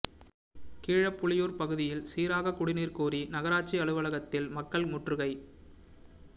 கீழப்புலியூா் பகுதியில் சீராக குடிநீா் கோரி நகராட்சி அலுவலகத்தில் மக்கள் முற்றுகை